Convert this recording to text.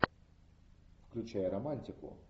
включай романтику